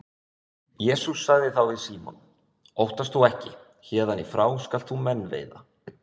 Jesús sagði þá við Símon: Óttast þú ekki, héðan í frá skalt þú menn veiða